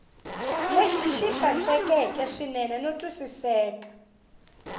lexi hlantswekeke swinene no twisiseka